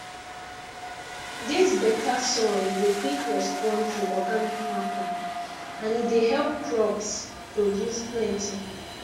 dis beta soil dey quick respond to organic matter and e dey help crops produce plenty